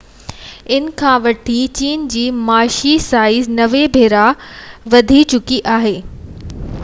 ان کان وٺي چين جي معاشي سائيز 90 ڀيرا وڌي چڪي آهي